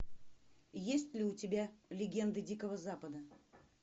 есть ли у тебя легенды дикого запада